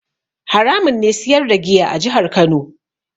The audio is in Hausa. Haramun ne siyar da giya a jihar Kano.